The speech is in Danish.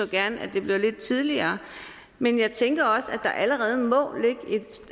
gerne at det blev lidt tidligere men jeg tænker også at der allerede må ligge